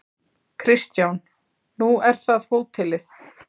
Kristján: Nú er það hótelið?